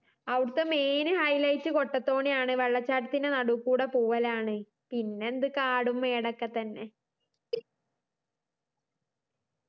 അവിടുത്തെ main highlight കൊട്ടത്തോണിയാണ് വെള്ളച്ചാട്ടത്തി നടൂക്കൂടെ പോവ്വലാണ് പിന്നെന്ത് കാടും മേടൊക്കെ തന്നെ